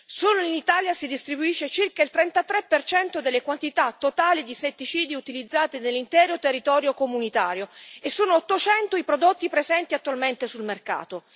Solo in Italia si distribuisce circa il 33 delle quantità totali di insetticidi utilizzati nell'intero territorio comunitario e sono 800 i prodotti presenti attualmente sul mercato.